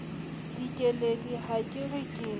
dikeledi ha ke re ke